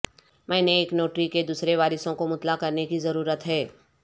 میں نے ایک نوٹری کے دوسرے وارثوں کو مطلع کرنے کی ضرورت ہے